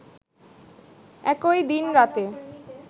একই দিন রাতে